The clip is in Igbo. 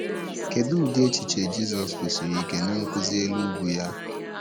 Kedụ ụdị echiche Jizọs kwusiri ike Nnkuzi elu ugwu ya?